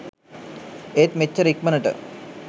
ඒත් මෙච්චර ඉක්මණට